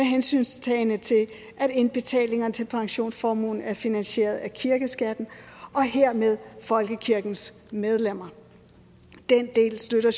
hensyntagen til at indbetalingerne til pensionsformuen er finansieret af kirkeskatten og hermed folkekirkens medlemmer den del støtter